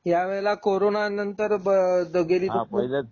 ह्या वेळेला करोना नंतर बाद गेली